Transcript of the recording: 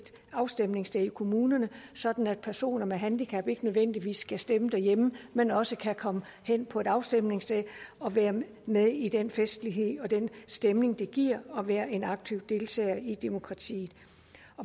afstemningssted i kommunerne sådan at personer med handicap ikke nødvendigvis skal stemme derhjemme men også kan komme hen på et afstemningssted og være med i den festlighed og den stemning det giver at være en aktiv deltager i demokratiet